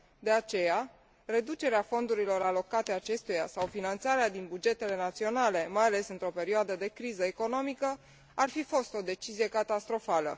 De aceea, reducerea fondurilor alocate acestuia sau finanțarea din bugetele naționale, mai ales într o perioadă de criză economică, ar fi fost o decizie catastrofală.